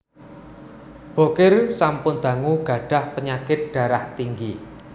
Bokir sampun dangu gadhah penyakit darah tinggi